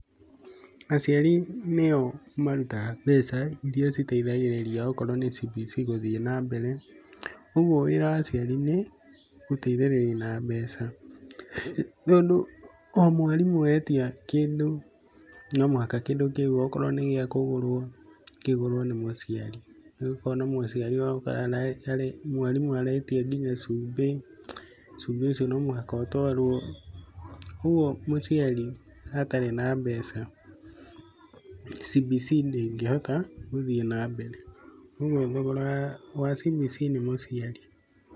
Aciari nĩo marutaga mbeca iria citeithagĩrĩria gũkorwo CBC gũthiĩ na mbere. Ũguo wĩra wa aciari nĩ gũteithĩrĩria na mbeca, tondũ o mwarimũ etia kĩndũ no mũhaka kĩndũ kĩu okorwo nĩgĩa kũgũrwo, kĩgũrwo nĩ mũciari. Rĩu ũkona mũciari waku o ndagĩka rĩ mwarimũ aretia nginya cumbĩ, cumbĩ ũcio no mũhaka ũtwarwo. Ũguo mũciari atarĩ na mbeca, CBC ndĩngĩhota gũthiĩ na mbere, thogora wa CBC nĩ mũciari.